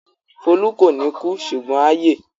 Folú kò ní kú ṣùgbọ́n á yè.